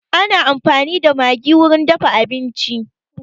Ana amfani da maggi wurin dafa abinci